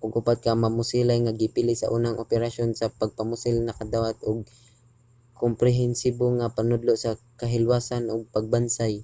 ang upat ka mamusilay nga gipili sa unang operasyon sa pagpamusil nakadawat og komprehensibo nga panudlo sa kahilwasan ug pagbansay